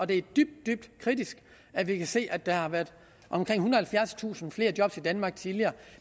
det er dybt dybt kritisk at vi kan se at der har været omkring ethundrede og halvfjerdstusind flere job i danmark tidligere